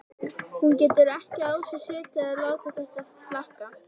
Hún getur ekki á sér setið að láta þetta flakka.